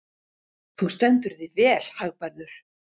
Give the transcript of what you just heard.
Þú stendur þig vel, Hagbarður!